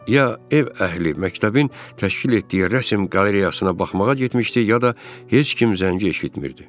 Ya ev əhli məktəbin təşkil etdiyi rəsm qalereyasına baxmağa getmişdi, ya da heç kim zəngi eşitmirdi.